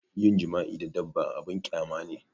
Yin jima'i da dabba abun ƙyama ne